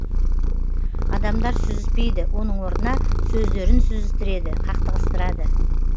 адамдар сүзіспейді оның орнына сөздерін сүзістіреді қақтығыстырады